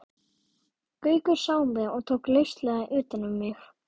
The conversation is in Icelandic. Gaukur sá mig og tók lauslega utan um mig.